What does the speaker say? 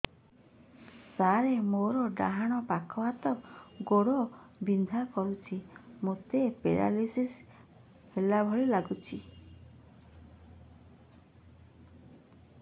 ସାର ମୋର ଡାହାଣ ପାଖ ହାତ ଗୋଡ଼ ବିନ୍ଧା କରୁଛି ମୋତେ ପେରାଲିଶିଶ ହେଲା ଭଳି ଲାଗୁଛି